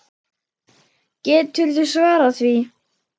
Geturðu svarað því?